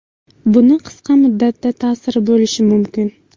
Buni qisqa muddatda ta’siri bo‘lishi mumkin.